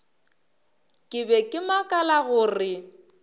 ke be ke makala gore